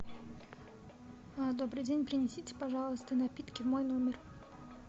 добрый день принесите пожалуйста напитки в мой номер